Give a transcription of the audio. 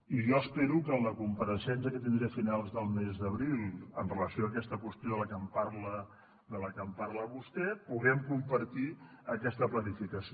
i jo espero que en la compareixença que tindré a finals del mes d’abril amb relació a aquesta qüestió de la que em parla vostè puguem compartir aquesta planificació